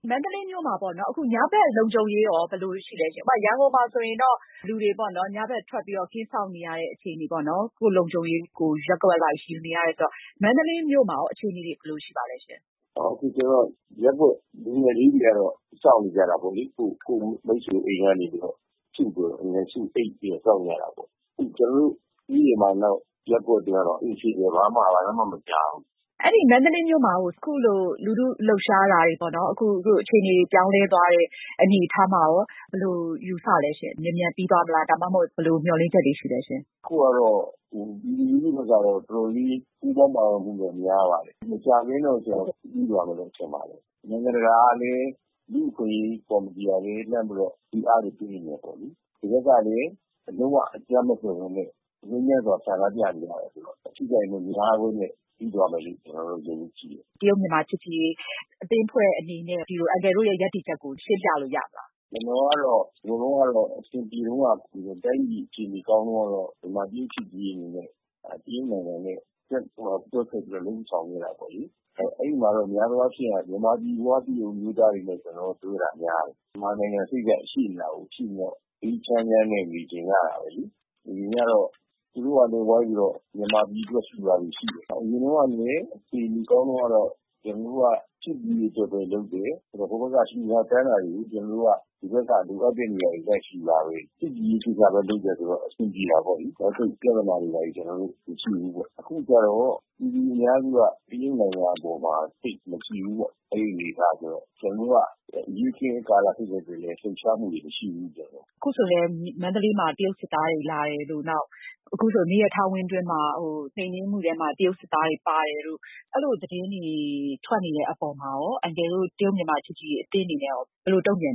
မန္တလေးမြို့မှာပေါ့နော် အခုညဘက် လုံခြုံရေးဘယ်လိုရှိသလဲရှင့်။ ဥပမာ-ရန်ကုန်မှာဆိုရင်တော့ လူတွေ ညဘက်ထွက်ပြီးတော့ ကင်းစောင့်နေရတဲ့အခြေအနေ၊ ကိုယ့်လုံခြုံရေးကို ရပ်ကွက်အလိုက်ယူနေရတယ်ဆိုတော့ မန္တလေးမြို့မှာ အခြေအနေတွေ ဘယ်လိုရှိပါသလဲရှင့်။ ဦးပိုမြင့်။ ။ အခုရပ်ကွက် လူငယ်လေးတွေကတော့ ဦးဆောင်နေတာပေါ့လေ။ ကိုယ့်မိတ်ဆွေအိမ်ကနေ စုပြီးတော့ စောင့်ကြတာပေါ့လေ။ ကျနော်တို့ရပ်ကွက်ကတော့ အေးဆေးပဲ ဘာမှ ဘာသံမှ မကြားဘူး။ အင်ကြင်းနိုင်။ ။မန္တလေးမြို့မှာ အခုလို လူထုလှုပ်ရှားတာတွေဖြစ်ပေါ်လာတာ၊ အခြေအနေတွေ ပြောင်းလဲသွားတဲ့အနေအထားမှာရော ဘယ်လို ယူဆသလဲရှင့်။ မြန်မြန်ပြီးသွားမလား ဒါမှမဟုတ်ရင် ဘယ်လိုမျှော်လင့်ချက်တွေရှိ သလဲရှင့်။ ဦးပိုမြင့်။ ။ အခုကတော့ ပြည်သူလူထုတွေကတော့ တော်တော်လေးကို ပူးပေါင်းပါဝင်မှုတော့များပါတယ် မကြာခင်မှာတော့ ပြီးသွားမယ်လို့ ထင်ပါတယ်။ နိုင်ငံတကာကလည်း ကုလသမဂ္ဂ လူ့အခွင့်အရေးကောင်စီ ကလည်း မေးမြန်းပြီးတော့ ဖိအားတွေပေးနေတယ်ပေါ့လေ။ ဒီဘက်ကလည်း လုံး၀ အကြမ်းမဖက်ပဲနဲ့ ငြိမ်းချမ်းစွာ ဆန္ဒပြနေကြတယ်ဆိုတော့ အထိအခိုက်မများပဲနဲ့ ပြီးသွားမယ်လို့ ကျနေ်ာယုံကြည်ပါတယ်။ အင်ကြင်းနိုင်။ ။ မြန်မာ-တရုတ် ချစ်ကြည်ရေးအသင်းအနေနဲ့ အန်ကယ်တို့ရဲ့ ရပ်တည်ချက်ကို ရှင်းပြလို့ ရမလား။ ဦးပိုမြင့်။ ။ ကျနော်ကတော့ တိုင်းပြည်အခြေအနေကောင်းတုန်းကတော့ မြန်မာ-တရုတ် ချစ်ကြည်ရေးအသင်းအနေနဲ့ တရုတ်နိုင်ငံနဲ့ ဆက်ဆံလုပ်ဆောင်တာပေါ့လေ။ အဲဒီမှာတော့ များသောအားဖြင့်တော့ မြန်မာပြည်ဖွားတရုတ်အမျိုးသားတွေနဲ့ ကျနော်တို့ ပြောတာများတယ်။ မြန်မာနိုင်ငံ အဆက်ရှိနေတော့ အေးအေးချမ်းချမ်းနဲ့ နေချင်ကြတာပဲလေ။ သူတို့ကလည်း ဝိုင်းပြီးတော့ မြန်မာပြည်အတွက် လှူတာတွေရှိတယ်။ အရင်တုန်းက အခြေအနေကောင်းတုန်းကတော့ ကျနော်တို့က ချစ်ကြည်ရေးအတွက်ပဲ လုပ်တယ်။ ဟိုဘက်က လှူတာတန်းတာတွေ ဒီဘက်က လိုအပ်တဲ့နေရာတွေလည်းရှိတော့ ချစ်ကြည်ရေးကိစ္စပဲလုပ်တယ်ဆိုတော့ အဆင်ပြေ တာပေါ့လေ။ သပ်ပြဿနာတွေဘာတွေ မရှိဘူး ။ အခုကတော့ ပြည်သူအများစုက တရုတ်နိုင်ငံအပေါ်မှာ သိပ်မကြည်ဘူးပေ့ါ။ အဲဒီအနေအထားဆိုတော့ ကျနေ်ာတို့က အရေးအခင်းကာလဖြစ်တဲ့အတွက်လည်း လှုပ်ရှားမှုတွေ မရှိဘူး။ အင်ကြင်းနိုင်။။ ခုဆိုလည်း မြန်မာနိုင်ငံကို တရုတ်စစ်သားတွေလာတယ်ဆိုတဲ့ သတင်းတွေ ထွက်နေတဲ့အပေါ်မှာ မြန်မာ-တရုတ်ချစ်ကြည်ရေးအသင်းနဲ့ဘယ်လို တုံ့ပြန်